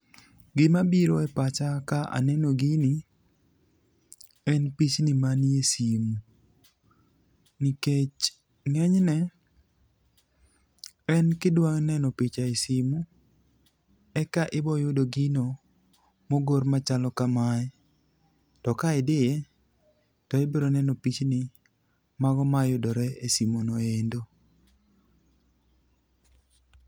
Gimabiro e pacha ka aneno gini en pichni manie simu nikech ng'enyne, en kidwa neno picha e simu eka iboyudo gino mogor machalo kamae, to ka idhi to ibiro neno pichni mago mayudore e simuno endo.